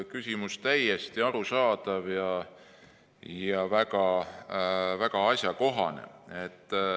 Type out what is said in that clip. Küsimus on täiesti arusaadav ja väga asjakohane.